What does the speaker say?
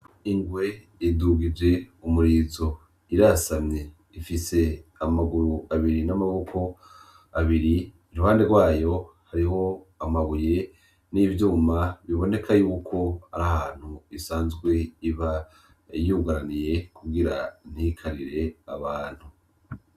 Ingwe idugije umurizo irasamye ifise amaguru abiri n'amaboko abiri, iruhande rwayo hariho amabuye n'ivyuma biboneka yuko arahantu isanzwe iba yugaraniye kugira ntikarire abantu.